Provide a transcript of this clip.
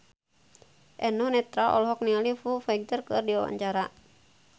Eno Netral olohok ningali Foo Fighter keur diwawancara